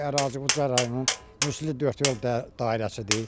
Bu ərazi Ucar rayonunun Müslü Dördyol dairəsidir.